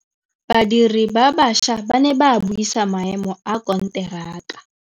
Badiri ba baša ba ne ba buisa maêmô a konteraka.